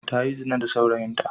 Ta yi zina da saurayinta.